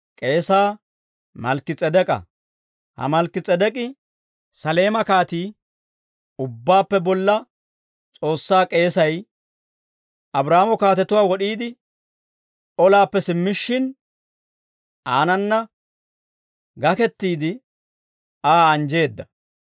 Ha Malkki-S'edek'k'i, Saleema kaatii, Ubbaappe Bolla S'oossaa k'eesay, Abraahaamo kaatetuwaa wod'iide olaappe simmishshin, aanana gakettiide, Aa anjjeedda.